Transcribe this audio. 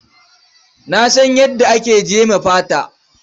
Na san yadda ake jeme fata.